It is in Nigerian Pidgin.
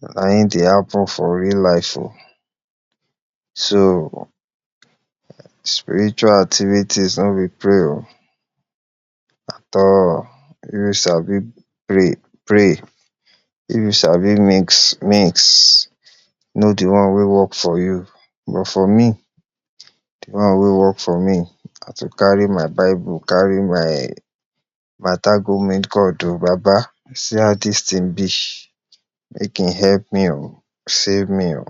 na im dey happen for real life oh. so spiritual activities no be play oh at all. if you sabi pray pray if you sabi mix mix know de one wey work for you, but for me, de one wey work for me na to carry my bible carry my mata go meet God oh; baba see as dis ting be make im help me oh save me oh,